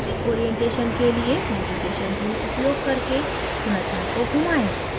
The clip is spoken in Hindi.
उचित orientation अभिविन्यास के लिए navigation tool उपयोग करके संरचना को घुमाएं